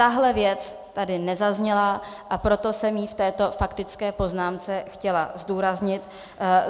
Tahle věc tady nezazněla, a proto jsem ji v této faktické poznámce chtěla zdůraznit.